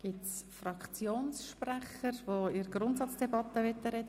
Gibt es Fraktionssprecher, die sich im Rahmen der Grundsatzdebatte äussern möchten?